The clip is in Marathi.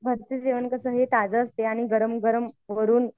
घरचं जेवण कसं हे ताजं असतं गरम गरम वरून